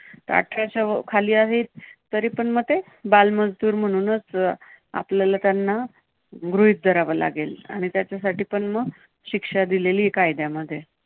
आठराच्या अं खाली आहे तरी पण ते बाल मजूर म्हणूनच आपल्याला त्यांना गृहीत धरावा लागेल आणि त्याच्यासाठी पण मग शिक्षा दिलेली आहे कायद्यामध्ये.